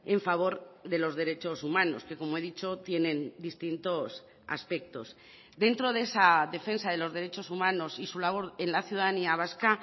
en favor de los derechos humanos que como he dicho tienen distintos aspectos dentro de esa defensa de los derechos humanos y su labor en la ciudadanía vasca